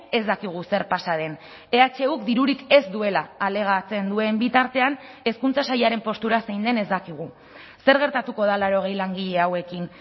ez dakigu zer pasa den ehuk dirurik ez duela alegatzen duen bitartean hezkuntza sailaren postura zein den ez dakigu zer gertatuko da laurogei langile hauekin